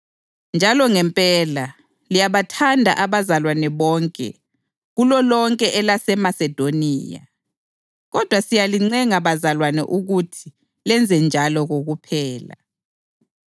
Njalo ngempela, liyabathanda abazalwane bonke kulolonke elaseMasedoniya. Kodwa siyalincenga bazalwane ukuthi lenzenjalo kokuphela.